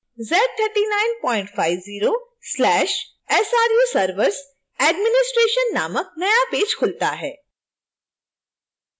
z3950/sru servers administration नामक नया page खुलता है